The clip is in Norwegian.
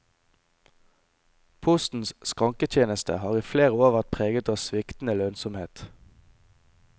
Postens skranketjeneste har i flere år vært preget av sviktende lønnsomhet.